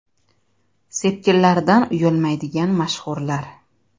Sepkillaridan uyalmaydigan mashhurlar .